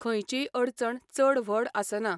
खंयचीय अडचण चड व्हड आसना.